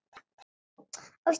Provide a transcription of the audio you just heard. Ást í byrjun aldar